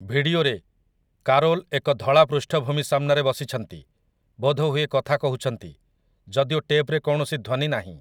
ଭିଡିଓରେ, କାରୋଲ୍ ଏକ ଧଳା ପୃଷ୍ଠଭୂମି ସାମ୍ନାରେ ବସିଛନ୍ତି, ବୋଧହୁଏ କଥା କହୁଛନ୍ତି, ଯଦିଓ ଟେପ୍‌ରେ କୌଣସି ଧ୍ୱନି ନାହିଁ ।